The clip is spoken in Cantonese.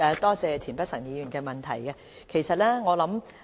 多謝田北辰議員提出的補充質詢。